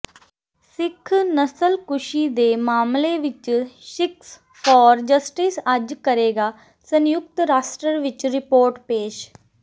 ਸਿੱਖ ਨਸਲਕੂਸ਼ੀ ਦੇ ਮਾਮਲੇ ਵਿੱਚ ਸਿੱਖਸ ਫਾਰ ਜਸਟਿਸ ਅੱਜ ਕਰੇਗਾ ਸੰਯੁਕਤ ਰਾਸ਼ਟਰ ਵਿੱਚ ਰਿਪੋਰਟ ਪੇਸ਼